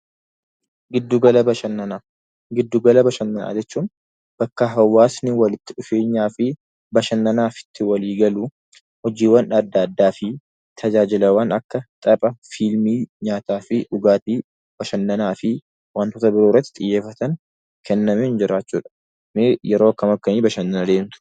Giddugala Bashannanaa: Giddu gala bashannanaa jechuun nakka hawwaasni walitti dhufeemyaa fi bashannanaaf itti walii galu, hojiiwwan adda addaa fi tajaajilawwan akka tapha, fiilmii, nyaataa, dhugaatii fi wantoota birok irratti xiyyeeffatan kennaniin xiyyeeffacbuudha.ee yeroo akkam akkamii bashannantu?